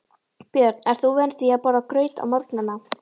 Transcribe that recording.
Björn: Ert þú vön því að borða graut á morgnanna?